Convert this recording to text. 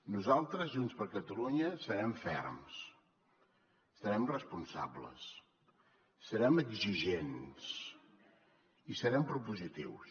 nosaltres junts per catalunya serem ferms serem responsables serem exigents i serem propositius